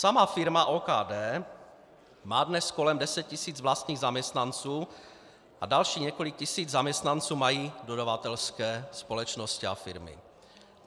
Sama firma OKD má dnes kolem 10 tis. vlastních zaměstnanců a dalších několik tisíc zaměstnanců mají dodavatelské společnosti a firmy.